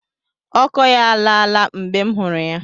Ọkọ ya alaa la mgbe m hụrụ ya.